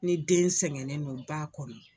Ni den sɛgɛnnen don ba kɔnɔ